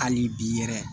Hali bi yɛrɛ